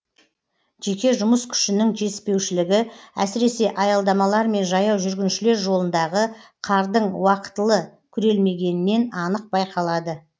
жеке жұмыс күшінің жетіспеушілігі әсіресе аялдамалар мен жаяу жүргіншілер жолындағы қардың уақытылы күрелмегенінен анық байқалады